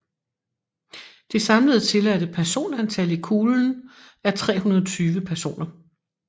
Det samlede tilladte personantal i kuglen er 320 personer